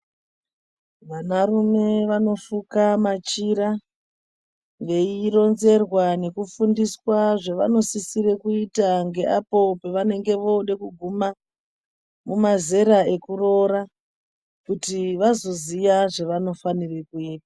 Vanarume vanofuka machira veironzerwa nekufundiswa zvevanosisira kuita ngeapo pavanenge voda kuguma mazera ekuroora kutivazoziya zvanofanirwe kuita .